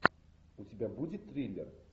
у тебя будет триллер